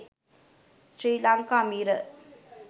sri lanka mirror